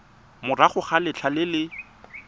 morago ga letlha le le